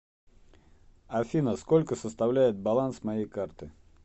афина сколько составляет баланс моей карты